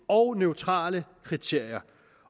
og neutrale kriterier